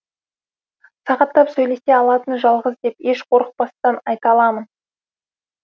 сағаттап сөйлесе алатын жалғыз деп еш қорықпастан айта аламын